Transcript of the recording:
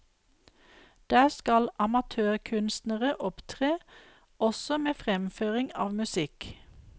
Der skal amatørkunstnere opptre, også med fremføring av musikk.